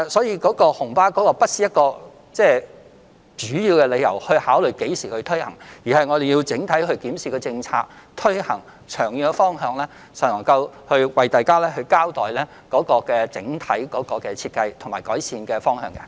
因此，紅巴不是主要的考慮因素，我們要考慮推行政策的長遠方向，然後才能向大家交代整體設計和改善方法。